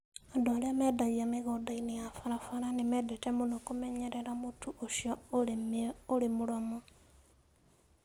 Andũ arĩa mendagia mĩgũnda-inĩ ya barabara nĩ mendete mũno kũmenyerera mũtu ũcio ũrĩ mũromo.